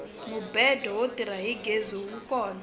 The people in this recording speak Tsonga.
mubedo wo tirha hi gezi wu kona